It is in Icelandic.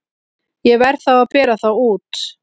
Ég verð þá að bera þá út.